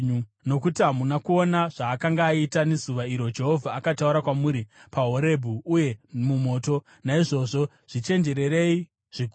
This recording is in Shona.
Nokuti hamuna kuona zvaakanga akaita nezuva iro Jehovha akataura kwamuri paHorebhi ari mumoto. Naizvozvo zvichenjererei zvikuru,